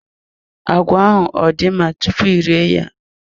Agwa ahụ ọ dị mma tupu ị rie ya?